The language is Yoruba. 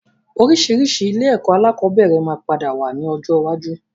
Oríṣiríṣi ilé ẹ̀kọ́ alakọ̀bẹ́ẹ́rẹ̀ máa padà wá ní ọjọ́ iwájú